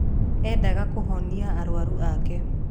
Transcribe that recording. Eendaga kũhonia arũaru ake.